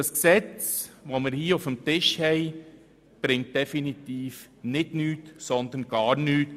Das vorliegende Gesetz bringt definitiv nicht nichts, sondern gar nichts.